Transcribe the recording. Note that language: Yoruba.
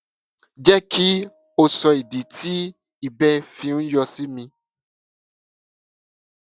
jẹ kí o sọ ìdí tí ìbẹ fi ń yọ sí mi